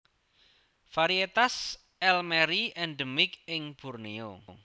Varietas elmeri endemik ing Borneo